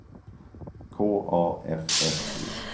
K A F F E